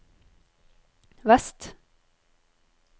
vest